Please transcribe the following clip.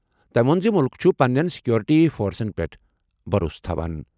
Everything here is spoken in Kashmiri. تٔمۍ ووٚن زِ مُلک چھُ پننٮ۪ن سیکورٹی فورسَن پٮ۪ٹھ بھروسہٕ تھاوان ۔